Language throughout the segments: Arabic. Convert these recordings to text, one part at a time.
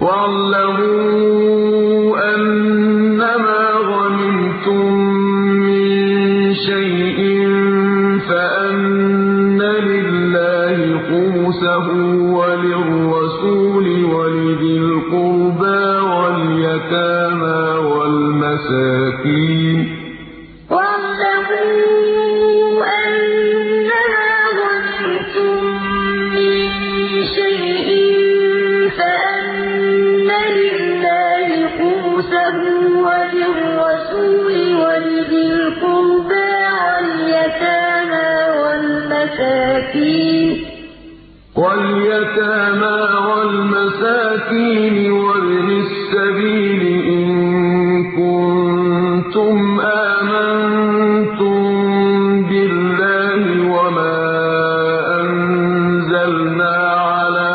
۞ وَاعْلَمُوا أَنَّمَا غَنِمْتُم مِّن شَيْءٍ فَأَنَّ لِلَّهِ خُمُسَهُ وَلِلرَّسُولِ وَلِذِي الْقُرْبَىٰ وَالْيَتَامَىٰ وَالْمَسَاكِينِ وَابْنِ السَّبِيلِ إِن كُنتُمْ آمَنتُم بِاللَّهِ وَمَا أَنزَلْنَا عَلَىٰ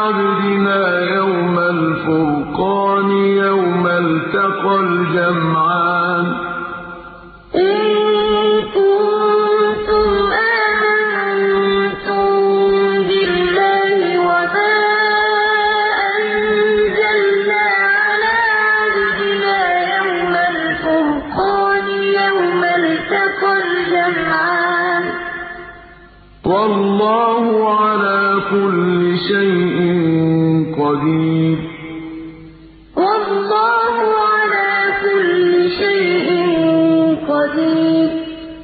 عَبْدِنَا يَوْمَ الْفُرْقَانِ يَوْمَ الْتَقَى الْجَمْعَانِ ۗ وَاللَّهُ عَلَىٰ كُلِّ شَيْءٍ قَدِيرٌ ۞ وَاعْلَمُوا أَنَّمَا غَنِمْتُم مِّن شَيْءٍ فَأَنَّ لِلَّهِ خُمُسَهُ وَلِلرَّسُولِ وَلِذِي الْقُرْبَىٰ وَالْيَتَامَىٰ وَالْمَسَاكِينِ وَابْنِ السَّبِيلِ إِن كُنتُمْ آمَنتُم بِاللَّهِ وَمَا أَنزَلْنَا عَلَىٰ عَبْدِنَا يَوْمَ الْفُرْقَانِ يَوْمَ الْتَقَى الْجَمْعَانِ ۗ وَاللَّهُ عَلَىٰ كُلِّ شَيْءٍ قَدِيرٌ